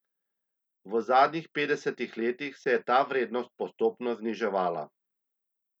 V zadnjih petdesetih letih se je ta vrednost postopno zniževala.